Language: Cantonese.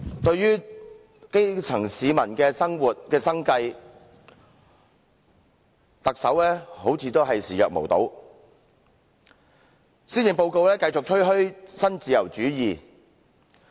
對於基層市民的生活、生計，特首似乎仍視若無睹，施政報告繼續吹噓新自由主義。